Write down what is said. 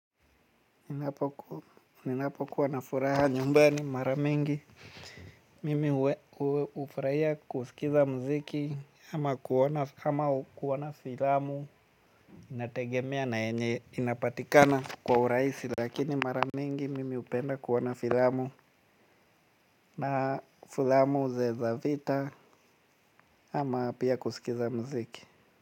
Ninapokuwa na furaha nyumbani mara mingi mimi hufurahia kusikiliza muziki ama kuona na filamu. Inategemea na yenye inapatikana kwa urahisi. Lakini mara mingi mimi hupenda kuona filamu. Na filamu zile za vita ama pia kusikiliza muziki.